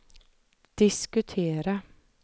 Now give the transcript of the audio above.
diskutera